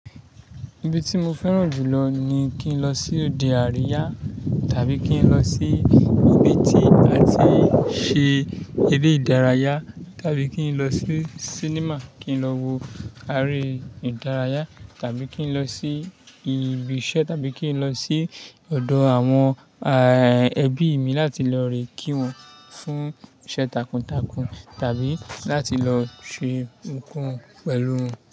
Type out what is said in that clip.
Ibi tí mo fẹ́ràn jù lọ ni kí n lọ sí òde àríyá tàbí kí n lọ sí ibi tí a ti ń ṣe eré ìdárayá, tàbí kí n lọ sí sinimá, kí n lọ wo àáre ìdárayá tàbí kí n lọ sí ibi iṣẹ́ tàbí kí n lọ sí ọ̀dọ̀ àwọn ẹbí mi láti lọ re kí wọn, fún iṣẹ́ takuntakun tàbí láti lọ ṣe nǹkan pẹ̀lú wọn.